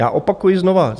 Já opakuji znovu.